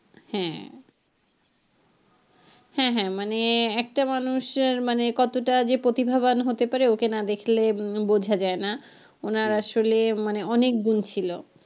হ্যাঁ হ্যাঁ হ্যাঁ মানে একটা মানুষ কতোটা যে প্রতিভাবান হতে পারে ওকে না দেখলে উম বোঝা যায়না ওনার আসলে অনেক গুন ছিলো।